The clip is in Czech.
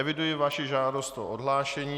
Eviduji vaši žádost o odhlášení.